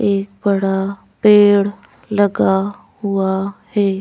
एक बड़ा पेड़ लगा हुआ है।